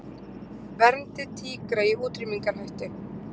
Verndi tígra í útrýmingarhættu